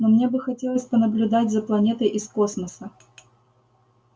но мне бы хотелось понаблюдать за планетой из космоса